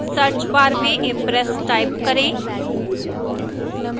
search bar में impress type करें